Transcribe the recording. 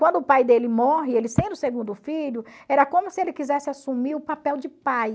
Quando o pai dele morre, ele sendo o segundo filho, era como se ele quisesse assumir o papel de pai.